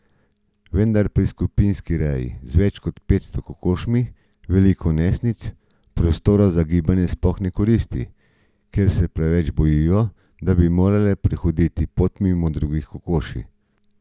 Vendar pri skupinski reji z več kot petsto kokošmi veliko nesnic prostora za gibanje sploh ne koristi, ker se preveč bojijo, da bi morale prehoditi pot mimo toliko drugih kokoši.